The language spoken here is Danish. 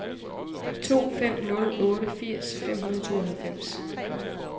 to fem nul otte firs fem hundrede og tooghalvfems